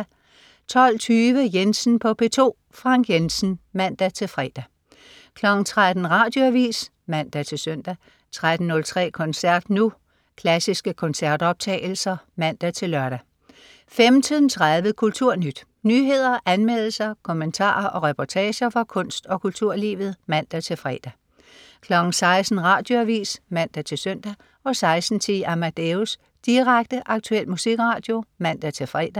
12.20 Jensen på P2. Frank Jensen (man-fre) 13.00 Radioavis (man-søn) 13.03 Koncert Nu. Klassiske koncertoptagelser (man-lør) 15.30 Kulturnyt. Nyheder, anmeldelser, kommentarer og reportager fra kunst- og kulturlivet (man-fre) 16.00 Radioavis (man-søn) 16.10 Amadeus. Direkte, aktuel musikradio (man-fre)